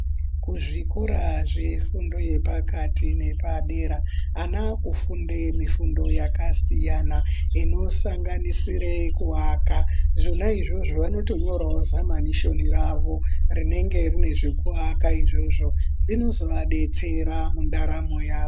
Kuzvikora zvefundo yepakati nepadera ana akufunde mifundo yakasiyana. Inosanganisire kuvaka zvina izvozvo vanotonyoravo zvamanishoni ravo rinenge rine zvekuaka izvozvo zvinozoabetsera mundaramo yavo.